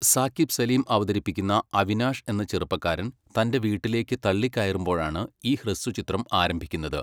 സാക്കിബ് സലീം അവതരിപ്പിക്കുന്ന അവിനാഷ് എന്ന ചെറുപ്പക്കാരൻ തൻ്റെ വീട്ടിലേക്ക് തള്ളിക്കയറുമ്പോഴാണ് ഈ ഹ്രസ്വചിത്രം ആരംഭിക്കുന്നത്.